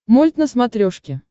мульт на смотрешке